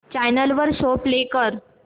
channel वर show play कर